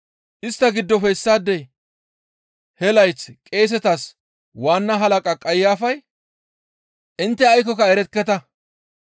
Istta giddofe issaadey he layth qeesetas waanna halaqa Qayafay, «Intte aykkoka erekketa.